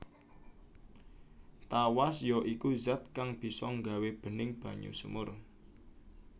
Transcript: Tawas ya iku zat kang bisa nggawé bening banyu sumur